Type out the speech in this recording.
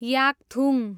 Yakthung